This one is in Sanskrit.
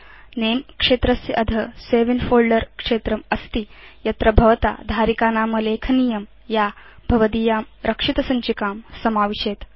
नमे क्षेत्रस्य अध सवे इन् फोल्डर क्षेत्रम् अस्ति यत्र भवता धारिकानाम लेखनीयं या भवदीयां रक्षितसञ्चिकां समाविशेत्